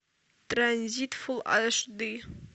транзит фулл аш ди